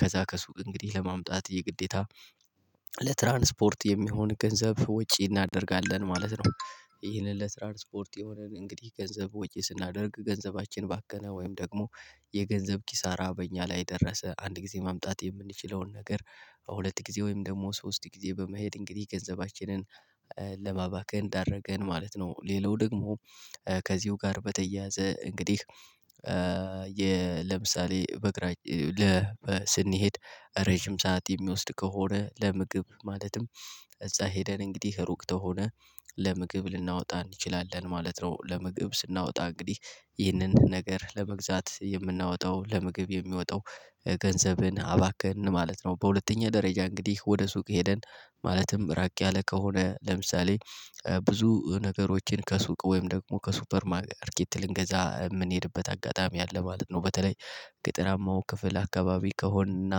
ከዛ ከሱቅ እንግዲህ ለማምጣት የግዴታ ለትራንስፖርት የሚሆን ገንዘብ ወጪ እናደርጋለን ማለት ነው። ይህንን ለትራንስፖርት የሆነን እንግዲህ ገንዘብ ወጪ ስናደርግ ገንዘባችን ባከና ወይም ደግሞ የገንዘብ ኪሳራ በእኛ ላይ ደረሰ አንድ ጊዜ ማምጣት የምንችለውን ነገር ሁለት ጊዜ ወይም ደግሞ ሶስት ጊዜ በመሄድ እንግዲህ ገንዘባችንን ለማባከን ዳረገን ማለት ነው። ሌላው ደግሞ ከዚሁ ጋር በተያያዘ እንግዲህ ለምሳሌ በእግራችን ስንሄድ ረጅም ሰዓት የሚወስድ ከሆነ ለምግብ ማለትም እዛ ሄደን እንግዲህ ሩቅ ከሆነ ለምግብ ልናወጣ እንችላለን ማለት ነው። ለምግብ ስናወጣ እንግዲህ ይህንን ነገር ለመግዛት የምናወጣው ለምግብ የሚወጣው ገንዘብን አባከንን ማለት ነው። በሁለተኛ ደረጃ እንግዲህ ወደ ሱቅ ሄደን ማለትም ራቅ ያለ ከሆነ ለምሳሌ ብዙ ነገሮችን ከሱቅ ወይም ደግሞ ከሱፐር ማርኬት ልንገዛ የምንሄድበት አጋጣሚ አለ ማለት ነው። በተለይ ገጠራማው ክፍል አካባቢ ከሆንና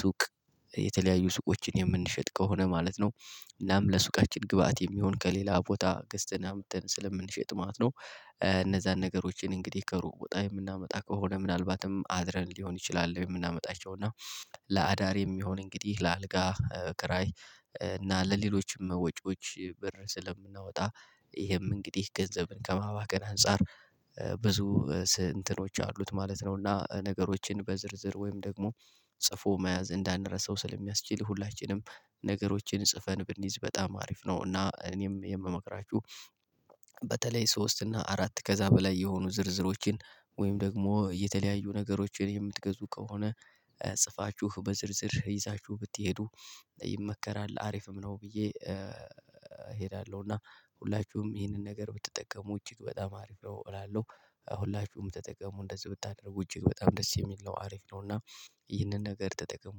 ሱቅ የተለያዩ ሱቆችን የምንሸጥ ከሆነ ማለት ነው። እናም ለሱቃችን ግብአት የሚሆን ከሌላ ቦታ ገዝተን አምጥተን ስለምንሸጥ ማለት ነው እነዛን ነገሮችን እንግዲህ ከሩቅ ቦታ የምናመጣ ከሆነ ምናልባትም አድረን ሊሆን ይችላል የምናመጣቸው እና። ለአዳር የሚሆን እንግዲህ ለአልጋ ክራይ እና ለሌሎችም ወጪዎች ብር ስለምናወጣ ይሄም እንግዲህ ገንዘብን ከማባከን አንፃር ብዙ እንትኖች አሉት ማለት ነው። እና ነገሮችን በዝርዝር ወይም ደግሞ ጽፎ መያዝ እንዳንረሳው ስለሚያስችል ሁላችንም ነገሮችን ጽፈን ብንይዝ በጣም አሪፍ ነው። እና እኔም የምመክራችሁ በተለይ ሶስት እና አራት ከዛ በላይ የሆኑ ዝርዝሮችን ወይም ደግሞ የተለያዩ ነገሮችን የምትገዙ ከሆነ ጽፋችሁ በዝርዝር ይዛችሁ ብትሄዱ ይመከራል አሪፍም ነው። ብዬ እሄዳለሁ እና ሁላችሁም ይህንን ነገር ብትጠቀሙ እጅግ በጣም አሪፍ ነው እላለሁ። ሁላችሁም ተጠቀሙ እንደዚህ ብታደርጉ እጅግ በጣም ደስ የሚል ነው አሪፍ ነው። እና ይህንን ነገር ተጠቀሙ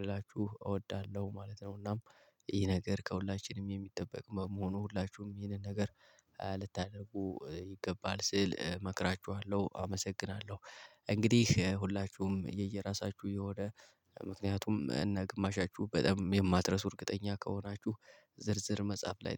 ልላችሁ እወዳለሁ ማለት ነው። እናም ይህ ነገር ከሁላችንም የሚጠበቅ በመሆኑ ሁላችሁም ይሄንን ነገር ልታደርጉ ይገባል ስል እመክራችኋለሁ አመሰግናለሁ። እንግዲህ ሁላችሁም የየራሳችሁ የሆነ ምክንያቱም እና ግማሻችሁ በጣም የማትረሱ እርግጠኛ ከሆናችሁ ዝርዝር መጻፍ ላይ